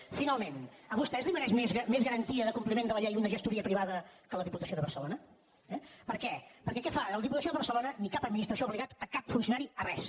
i finalment a vostè li mereix més garantia de compliment de la llei una gestoria privada que la diputació de barcelona eh per què perquè què fa ni la diputació de barcelona ni cap administració ha obligat cap funcionari a res